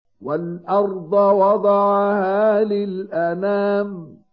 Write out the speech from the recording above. وَالْأَرْضَ وَضَعَهَا لِلْأَنَامِ